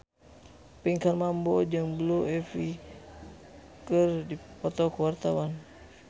Pinkan Mambo jeung Blue Ivy keur dipoto ku wartawan